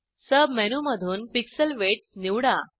सब मेनूमधून pixel width निवडा